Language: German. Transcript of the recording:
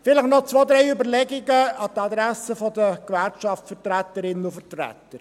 Vielleicht noch zwei, drei Überlegungen an die Adresse der Gewerkschaftsvertreterinnen und –vertreter.